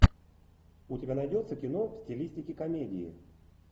у тебя найдется кино в стилистике комедии